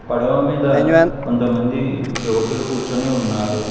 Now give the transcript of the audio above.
పడవ మీద కొంతమందీ యువకులు కూర్చొని ఉన్నారు.